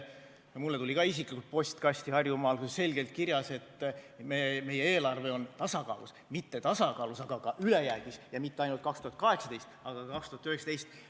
Ka mulle isiklikult tuli Harjumaal postkasti kiri, kus oli selgelt kirjas, et meie eelarve on tasakaalus, mitte ainult tasakaalus, vaid ka ülejäägis, ja mitte ainult 2018, vaid ka 2019.